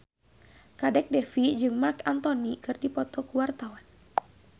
Kadek Devi jeung Marc Anthony keur dipoto ku wartawan